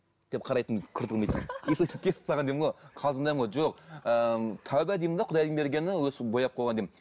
деп қарайтын кірпігін бүйтіп өйстіп кесіп тастаған деймін ғой қалжындаймын ғой жоқ ыыы тәубе деймін де құдайдың бергені өйстіп бояп қойған деймін